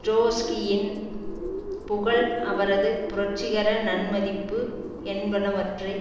ட்ரொட்ஸ்கியின் புகழ் அவரது புரட்சிகர நன்மதிப்பு என்பனவற்றை